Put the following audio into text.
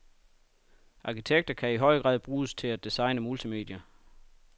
Arkitekter kan i høj grad bruges til at designe multimedier.